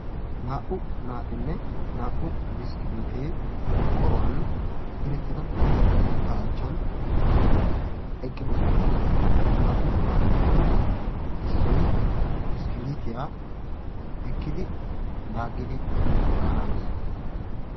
naa"u naatinne naa'u biskkilitee qorqqoruwaan direttida keettaa achchan eqqiidosona. he naa"u naatuppekka issoy biskkeletiyaa eekkidi laaggidi baana hanees.